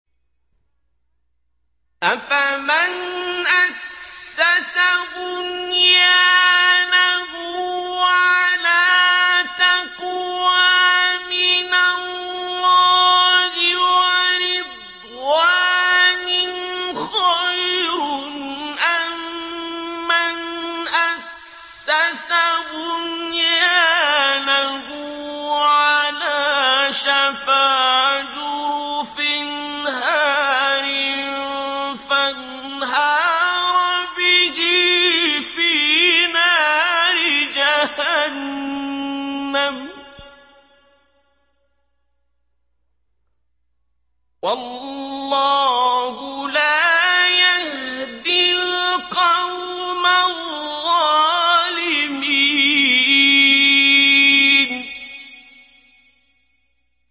أَفَمَنْ أَسَّسَ بُنْيَانَهُ عَلَىٰ تَقْوَىٰ مِنَ اللَّهِ وَرِضْوَانٍ خَيْرٌ أَم مَّنْ أَسَّسَ بُنْيَانَهُ عَلَىٰ شَفَا جُرُفٍ هَارٍ فَانْهَارَ بِهِ فِي نَارِ جَهَنَّمَ ۗ وَاللَّهُ لَا يَهْدِي الْقَوْمَ الظَّالِمِينَ